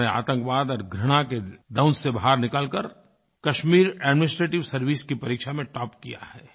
उन्होंने आतंकवाद और घृणा के दंश से बाहर निकल कर कश्मीर एडमिनिस्ट्रेटिव सर्वाइस की परीक्षा में टॉप किया है